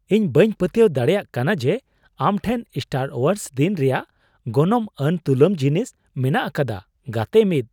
ᱤᱧ ᱵᱟᱹᱧ ᱯᱟᱹᱛᱭᱟᱹᱣ ᱫᱟᱲᱮᱭᱟᱜ ᱠᱟᱱᱟ ᱡᱮ ᱟᱢ ᱴᱷᱮᱱ ᱥᱴᱟᱨ ᱳᱣᱟᱨᱥ ᱫᱤᱱ ᱨᱮᱭᱟᱜ ᱜᱚᱱᱚᱝᱼᱟᱱ ᱛᱩᱢᱟᱹᱞ ᱡᱤᱱᱤᱥ ᱢᱮᱱᱟᱜ ᱟᱠᱟᱫᱟ ᱾ (ᱜᱟᱛᱮ ᱑)